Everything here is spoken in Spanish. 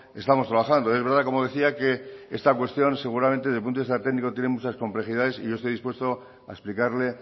estamos trabajando es verdad que como decía que esta cuestión seguramente desde el punto de vista técnico tiene muchas complejidades y yo estoy dispuesto a explicarle